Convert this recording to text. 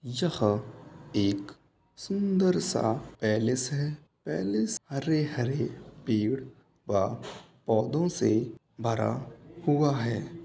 यह एक सुंदर सा पैलेस है पैलेस हरे-हरे पेड़ व पौधों से भरा हुआ है।